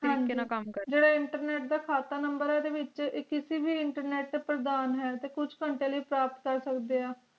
ਕਾਇਰ ਕਾਮ ਜੇਰਾ internet ਦਾ ਖਾਤਾ number ਓਦੇ ਵਿਚ ਕਿਸੇ ਵੀ internet ਤੇ ਪ੍ਰਦਾਨ ਹੈ ਤੇ ਕੁਛ ਗੰਤੇ ਲਾਇ ਪ੍ਰਾਪਤ ਕਰ ਸਕਦੀਆਂ